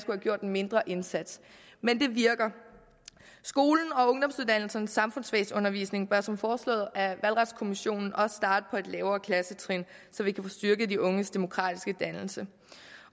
gjort en mindre indsats men det virker skolens og ungdomsuddannelsernes samfundsfagsundervisning bør som foreslået af valgretskommissionen også starte på et lavere klassetrin så vi kan få styrket de unges demokratiske dannelse